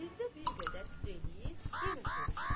Fizə bir qədər fikir eləyib, yenə soruşdu: